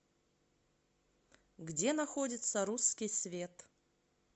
где находится русский свет